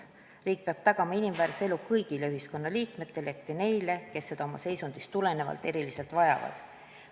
Riik peab tagama inimväärse elu kõigile ühiskonnaliikmetele, eriti neile, kes seda oma seisundist tulenevalt eriliselt vajavad.